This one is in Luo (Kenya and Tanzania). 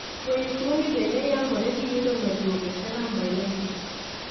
Fuenyo tuo ni bende yangore gi yudo medruoke serum bile acids